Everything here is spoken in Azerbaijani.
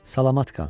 Salamat qal.